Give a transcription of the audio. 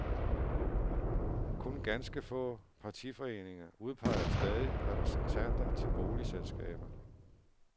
Kun ganske få partiforeninger udpeger stadig repræsentanter til boligselskaber.